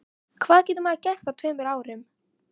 Hvað getur maður gert á tveimur árum?